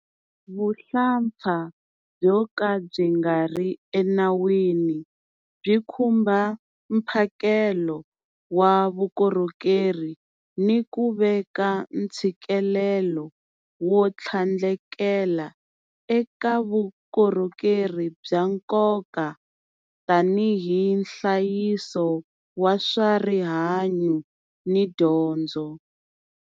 Vuhlampfa byo ka byi nga ri enawini byi khumba mphakelo wa vukorhokeri ni ku veka ntshikelelo wo tlhandlekela eka vukorhokeri bya nkoka tanihi nhlayiso wa swa rihanyu ni dyondzo.